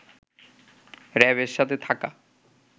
র‍্যাবের সাথে থাকা